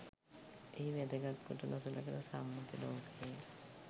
එහි වැදගත් කොට නොසලකන සම්මුති ලෝකයෙහි